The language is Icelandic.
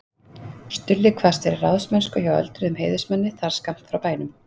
Stulli kvaðst vera í ráðsmennsku hjá öldruðum heiðursmanni þar skammt frá bænum.